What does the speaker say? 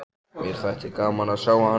Mér þætti gaman að sjá hann.